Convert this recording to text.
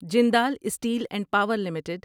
Jindal Steel and Power limited